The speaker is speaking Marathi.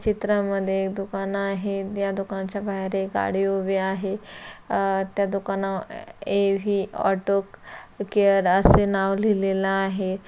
चित्रा मध्ये एक दुकान आहे या दुकानच्या बाहेर एक गाड़ी उभी आहे अ त्या दुकान ए_वी ऑटो केअर असे नाव लिहिलेल आहे.